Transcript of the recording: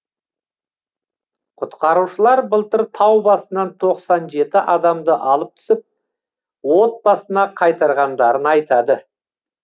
құтқарушылар былтыр тау басынан тоқсан жеті адамды алып түсіп отбасына қайтарғандарын айтады